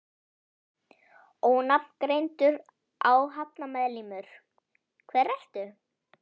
Ónafngreindur áhafnarmeðlimur: Hver ertu?